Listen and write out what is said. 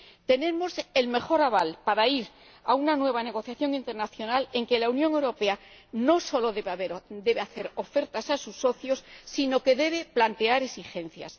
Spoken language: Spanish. Tenemos el mejor aval para ir a una nueva negociación internacional en que la Unión Europea no solo debe hacer ofertas a sus socios, sino que debe plantear exigencias.